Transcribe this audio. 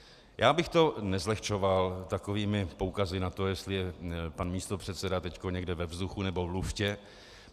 Já bych to nezlehčoval takovými poukazy na to, jestli je pan místopředseda teď někde ve vzduchu nebo v luftě.